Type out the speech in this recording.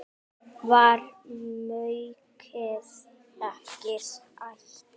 Var maukið ekki ætt?